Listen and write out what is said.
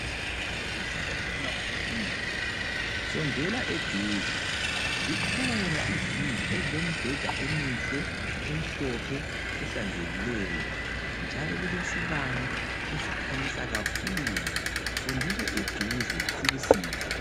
Ngabe uzizwa ufuna ukuphumula sondela eduze zikhona izindlu ezilembheda emihle emhlophe ehlanzekileyo njalo kulesibane esikhanyisa kakhulu sondela eduze sikusize.